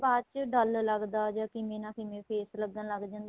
ਬਾਅਦ ਚ dull ਲੱਗਦਾ ਜਾਂ ਕਿਵੇਂ ਨਾ ਕਿਵੇਂ face ਲੱਗਣ ਲੱਗ ਜਾਂਦਾ